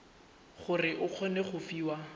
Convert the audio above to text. gore o kgone go fiwa